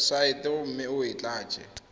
websaeteng mme o e tlatse